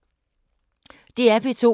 DR P2